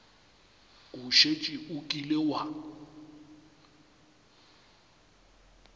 o šetše o kile wa